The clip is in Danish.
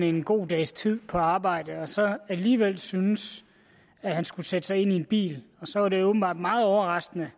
en god dags tid på arbejdet og så alligevel syntes at han skulle sætte sig ind i en bil og så var det åbenbart meget overraskende